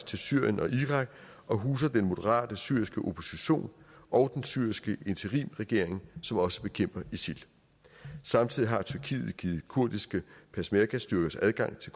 til syrien og irak og huser den moderate syriske opposition og den syriske interimregering som også bekæmper isil samtidig har tyrkiet givet kurdiske peshmergastyrker adgang til